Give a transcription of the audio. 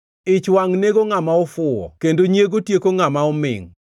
Ich wangʼ nego ngʼama ofuwo, kendo nyiego tieko ngʼama omingʼ.